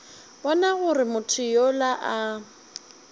bona gore motho yola a